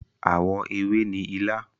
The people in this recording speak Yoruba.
Àwọ ewe ni ilá.